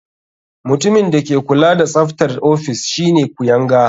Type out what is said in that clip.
Mutumin da ke kula da tsaftar ofis shine kuyanga.